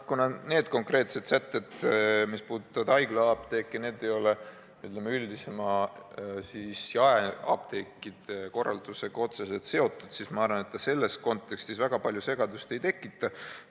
Kuna need konkreetsed sätted, mis puudutavad haiglaapteeki, ei ole üldisema jaeapteekide korraldusega otseselt seotud, siis ma arvan, et selles kontekstis see väga palju segadust ei tekita.